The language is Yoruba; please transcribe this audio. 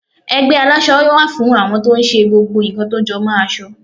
ẹgbẹ àlásò wá fún àwọn to n ṣe gbogbo nkan tó jọ mo aso